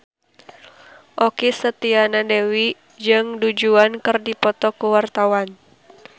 Okky Setiana Dewi jeung Du Juan keur dipoto ku wartawan